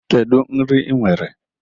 Kedu nri ị nwere?